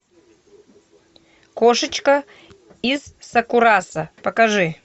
кошечка из сакурасо покажи